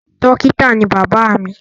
Dókítà ni bàbá mi.